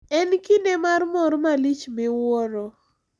En kinde mar mor malich miwuoro.